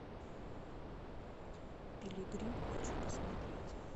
пилигрим хочу посмотреть